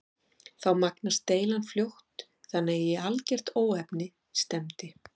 Þá magnaðist deilan fljótt þannig að í algert óefni stefndi.